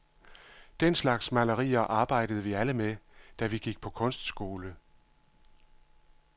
Den slags malerier arbejdede vi alle med, da vi gik på kunstskole.